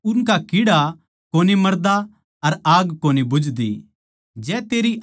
जड़ै उनका कीड़ा कोनी मरदा अर आग कोनी बुझदी